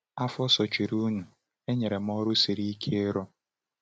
Afọ sochirinụ, e nyere m ọrụ siri ike ịrụ.